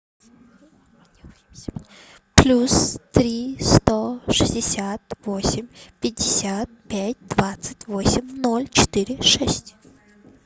плюс три сто шестьдесят восемь пятьдесят пять двадцать восемь ноль четыре шесть